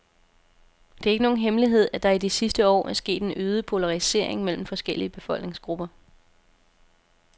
Det er ikke nogen hemmelighed, at der i de sidste år er sket en øget polarisering mellem forskellige befolkningsgrupper.